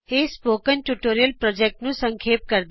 ਇਹ spoken tutorial project ਨੂੰ ਸੰਖੇਪ ਕਰਦਾ ਹੈ